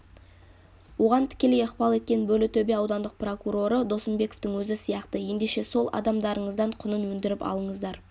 оған тікелей ықпал еткен бөрлітөбе аудандық прокуроры досымбековтың өзі сияқты ендеше сол адамдарыңыздан құнын өндіріп алыңыздар